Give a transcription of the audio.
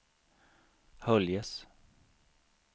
Höljes